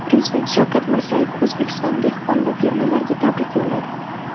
Prezident Shavkat Mirziyoyev O‘zbekiston dehqon va fermerlariga tabrik yo‘lladi.